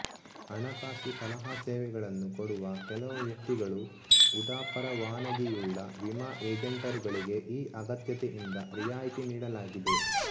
ಹಣಕಾಸು ಸಲಹಾ ಸೇವೆಗಳನ್ನು ಕೊಡುವ ಕೆಲವು ವ್ಯಕ್ತಿಗಳು ಉದಾಪರವಾನಗಿಯುಳ್ಳ ವಿಮಾ ಏಜೆಂಟರುಗಳಿಗೆ ಈ ಅಗತ್ಯತೆಯಿಂದ ರಿಯಾಯಿತಿ ನೀಡಲಾಗಿದೆ